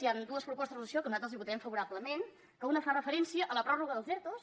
hi han dues propostes de resolució que nosaltres hi votarem favorablement que una fa referència a la pròrroga dels ertos